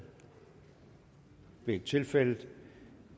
det er ikke tilfældet og